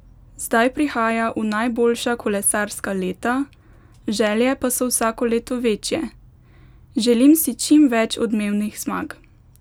Zdaj prihaja v najboljša kolesarska leta, želje pa so vsako leto večje: "Želim si čim več odmevnih zmag.